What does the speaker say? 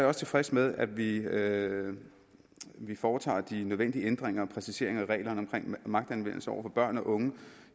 også tilfreds med at vi at vi foretager de nødvendige ændringer og præciseringer af reglerne om magtanvendelse over for børn og unge